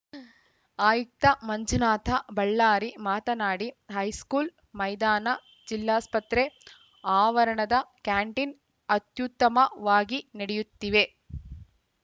ಆಯುಕ್ತ ಮಂಜುನಾಥ ಬಳ್ಳಾರಿ ಮಾತನಾಡಿ ಹೈಸ್ಕೂಲ್‌ ಮೈದಾನ ಜಿಲ್ಲಾಸ್ಪತ್ರೆ ಆವರಣದ ಕ್ಯಾಂಟೀನ್‌ ಅತ್ಯುತ್ತಮವಾಗಿ ನಡೆಯುತ್ತಿವೆ